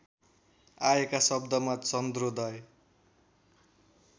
आएका शब्दमा चन्द्रोदय